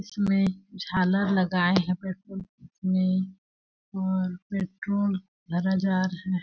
इसमें झालर लगाए हैं पेट्रोल में और पेट्रोल भरा जा रहा है।